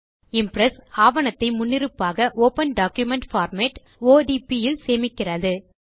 Impress ஆவணத்தை முன்னிருப்பாக open document format இல் சேமிக்கிறது